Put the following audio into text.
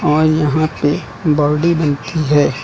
और यहां पे बॉडी बनती है।